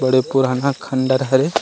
बड़े पुराना खंडर हरे।